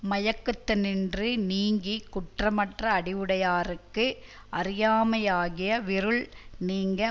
மயக்கத்தினின்று நீங்கி குற்றமற்ற அறிவுடையார்க்கு அறியாமையாகிய விருள் நீங்க